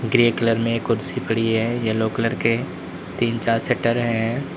Grey colour में कुर्सी पड़ी है येलो कलर के तीन चार शटर हैं।